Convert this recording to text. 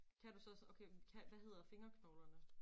Kan du så også okay men kan hvad hedder fingerknoglerne?